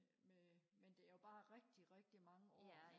øh men det er jo bare rigtig rigtig mange år